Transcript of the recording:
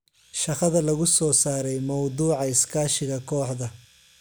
Shaqada lagu soo saaray mawduuca iskaashiga kooxda.